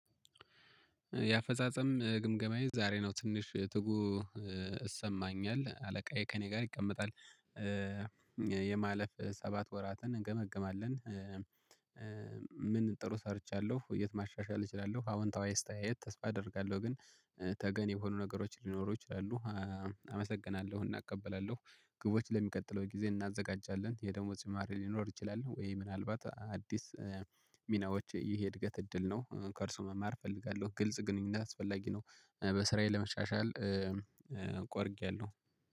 የአፈጻጸም ግምገማዬ ዛሬ ነው ትንሽ ትጉ ይሰማኛል አለቃዬ ከእኔ ጋር ይቀመጣል ያለፉፍ ሰባት ወራትን እንገመግማለን። ምን ጥሩ ሰርቻለሁ የት ማሻሻል እችላለሁ? አዎንታዊ አስተያየት ተስፋ አደርጋለሁ ግን ተገን የሆኑ ነገሮች ሊኖሩ ይችላሉ። አመሰግናለሁ እናቀበላለሁ ግቦች ለሚቀጥለው ጊዜ እናዘጋጃለን የደሞዝ ጭማሪ ሊኖር ይችላል? ወይ ምናልባት አዲስ ሚናዎች ይሄ እድገት እድል ነው። ከእርሱ መማር እፈልጋለሁ ግልጽ ግንኙነት አስፈላጊ ነው። በስራዬ ለመሻሻል ቆርጫለሁ